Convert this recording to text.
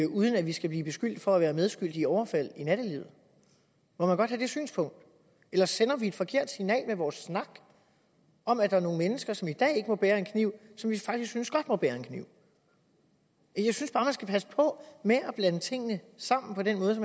uden at vi skal blive beskyldt for at være medskyldige i overfald i nattelivet må man godt have det synspunkt eller sender vi et forkert signal med vores snak om at der er nogle mennesker som i dag ikke må bære en kniv som vi faktisk synes godt må bære en kniv jeg synes bare man skal passe på med at blande tingene sammen på den måde